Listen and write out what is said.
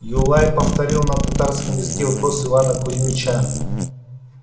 юлай повторил на татарском языке вопрос ивана кузмича